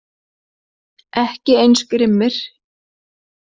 Ekki eins grimmir